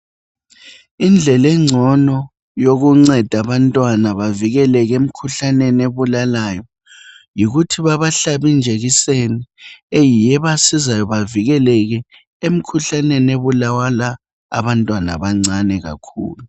Indlela engcono yokunceda abantwana bavikeleke emikhuhlaneni ebulalayo yikuthi bebahlabi ijekiseni eyiyo ebasizayo bavikeleke emikhuhlaneni ebulala abantwana abancane kakhulu.